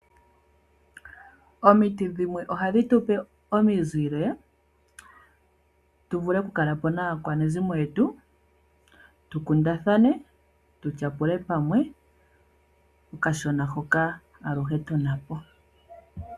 Omiti dhimwe ohadhi tu pe omizile, tu g Vule kukula po naakwanezimo yetu, tu kundathane, tu tyapule pamwe okashona hoka aluhe tuna po.